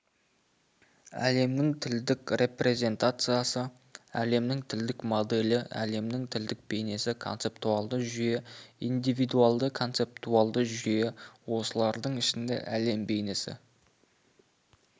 әлемнің тілдік репрезентациясы әлемнің тілдік моделі әлемнің тілдік бейнесі концептуалды жүйе индивидуалды-концептуалды жүйе осылардың ішінде әлем бейнесі